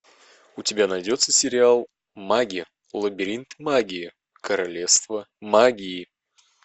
у тебя найдется сериал маги лабиринт магии королевство магии